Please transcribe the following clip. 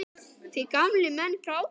Því gamlir menn gráta enn.